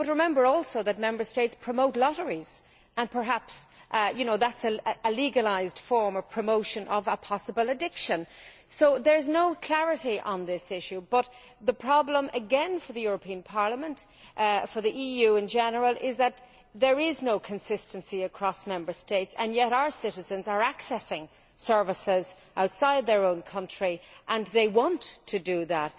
But remember also that Member States promote lotteries, and perhaps that is a legalised form of promoting a possible addiction. So there is no clarity on this issue but, once again, the problem for the European Parliament, for the EU in general, is that there is no consistency across Member States, and yet our citizens are accessing services outside their own country, and they want to do that.